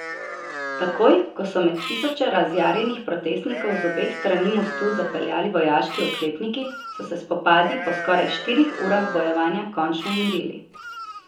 Takoj, ko so med tisoče razjarjenih protestnikov z obeh strani mostu zapeljali vojaški oklepniki, so se spopadi po skoraj štirih urah bojevanja končno umirili.